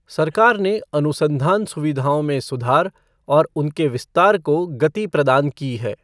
सरकार ने अनुसंधान सुविधओं में सुधार और उनके विस्तार को गति प्रदान की है।